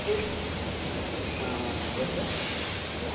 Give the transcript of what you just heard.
ക്ക് ആഹ് അഹ് ന്തോ എന്തു